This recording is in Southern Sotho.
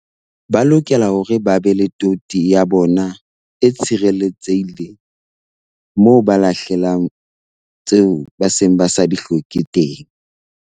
Ba lokela hore ba be le toti ya bona e tshirelletsehile moo ba lahlelang tseo ba seng ba sa di hloke teng.